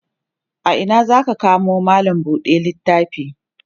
a Ina zaka kamo mallam buɗe littafi?